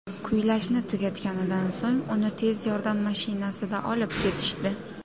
Kuylashni tugatganidan so‘ng, uni tez yordam mashinasida olib ketishdi.